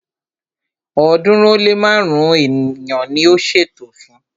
ọ̀ọ́dúnrún ó lé márùn-ún èèyàn ni a ṣètò fún